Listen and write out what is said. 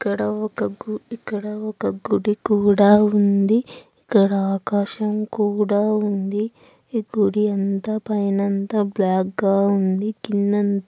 ఇక్కడ ఒక ఇక్కడ ఒక గుడి కూడా ఉంది. ఇక్కడ ఆకాశం కూడా ఉంది. ఈ గుడి పైన అంతా బ్లాక్ గా ఉంది. కింద అంతా --